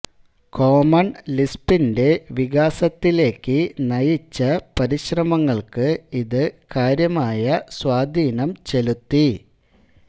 common ലിസ്പിന്റെ വികാസത്തിലേക്ക് നയിച്ച പരിശ്രമങ്ങൾക്ക് ഇത് കാര്യമായ സ്വാധീനം ചെലുത്തി